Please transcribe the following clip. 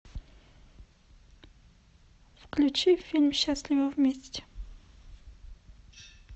включи фильм счастливы вместе